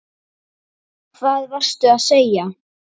Hvað varstu að segja?